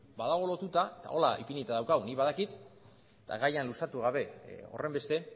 badago lotuta eta honela ipinita daukagu ni badakit eta gaia luzatu gabe horrenbeste